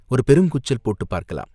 ஒரு பெருங்கூச்சல் போட்டுப் பார்க்கலாம்.